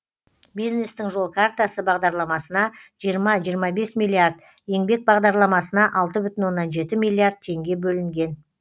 бизнестің жол картасы бағдарламасына жиырма жиырма бес миллиард еңбек бағдарламасына алты бүтін оннан жеті миллиард теңге бөлінген